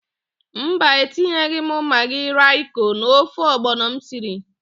Mba, etinyeghị m magị roịko n'ofe ọgbọnọ m siri.